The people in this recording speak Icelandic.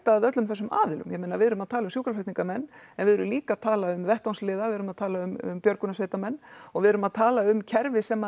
að öllum þessum aðilum ég meina við erum að tala um sjúkraflutningamenn en við erum líka að tala um vettvangsliða við erum að tala um björgunarsveitamenn og við erum að tala um kerfi sem